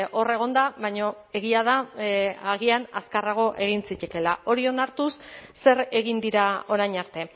hor egon da baina egia da agian azkarrago egin zitekeela hori onartuz zer egin dira orain arte